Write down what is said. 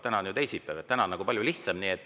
Täna on ju teisipäev, täna on palju lihtsam.